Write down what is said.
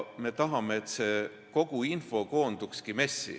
Me tahame, et see kogu info koondukski MES-i.